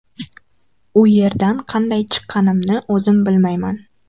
U yerdan qanday chiqqanimni o‘zim bilmayman.